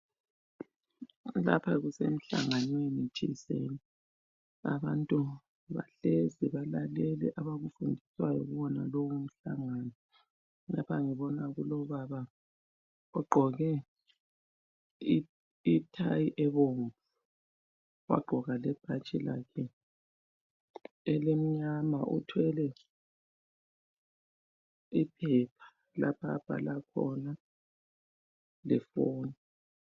Lapha kusemhlanganweni thizeni. Abantu bahlezi balalele abakufundiswayo kuwona lowo mhlangano .Lapha ngibona kulobaba ogqoke ithayi ebomvu wagqoka lebhatshi lakhe elimnyama uthwele iphepha lapha abhala khona lefoni.